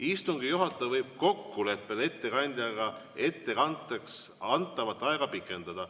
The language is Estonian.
Istungi juhataja võib kokkuleppel ettekandjaga ettekandeks antavat aega pikendada.